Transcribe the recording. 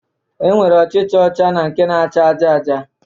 E nwere ọchịcha ọcha na nke na-acha aja aja